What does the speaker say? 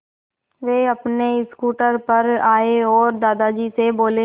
वे अपने स्कूटर पर आए और दादाजी से बोले